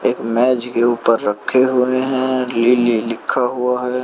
एक मेज के ऊपर रखे हुए हैं लिली लिखा हुआ है।